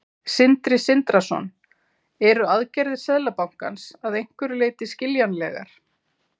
Sindri Sindrason: Eru aðgerðir Seðlabankans að einhverju leyti skiljanlegar?